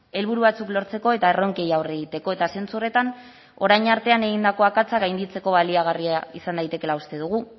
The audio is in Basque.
helburu batzuk lortzeko eta erronkei aurre egiteko eta zentzu horretan orain artean egindako akatsak gainditzeko baliagarria izan daitekeela uste dugu